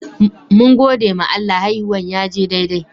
Mun gode ma Allah, haihuwan ya je daidai.